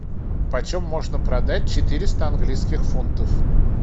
почем можно продать четыреста английских фунтов